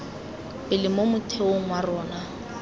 pele mo motheong wa rona